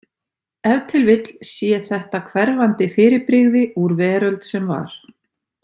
Ef til vill sé þetta hverfandi fyrirbrigði úr „veröld sem var“.